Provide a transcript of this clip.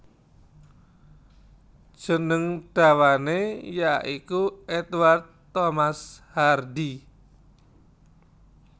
Jeneng dawané ya iku Edward Thomas Hardy